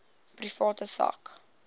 private sak